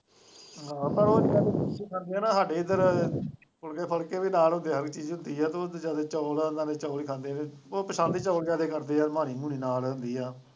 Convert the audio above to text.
ਸਾਡੇ ਇੱਧਰ ਫੁਲਕੇ ਵੀ ਨਾਲ ਹੁੰਦੇ ਹੈ ਇਹੋ ਜਿਹੀ ਚੀਜ਼ ਹੁੰਦੀ ਹੈ ਤੇ ਉਹ ਵਿਚਾਰੇ ਚੋਲ ਉਹਨਾਂ ਦੇ ਚੋਲ ਖਾਂਦੇ ਹੈ ਉਹ ਪੰਸਦ ਹੀ ਚੋਲ ਜਿਆਦਾ ਕਰਦੇ ਹੈ ਮਾਣੀ ਮੁਣੀ ਹੁੰਦੀ ਹੈ।